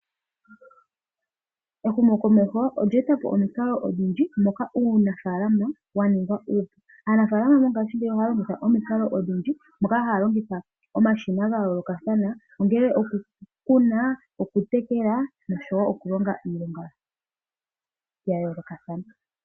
Ehumokomeho olya eta po omikalo odhindji moka uunafaalama wa ninga uupu. Aanafaalama mongashingeyi ohaya longitha omikalo odhindji, moka haya longitha omashina ga yoolokathana, ongele okukuna, okutekela, nosho wo okulonga iilonga ya yoolokathana.